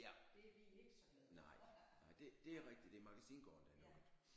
Ja nej nej det det er rigtigt det er er Magasingaarden der er lukket